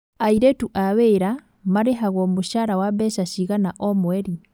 Airĩtu a wĩra marĩhagwo mũcara wa mbeca cigana o mweri?